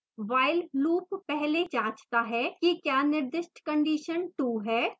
while loop पहली जाँचता है कि क्या निर्दिष्ट condition true है